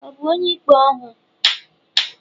Ọ̀ bu onye-ikpé ọhu?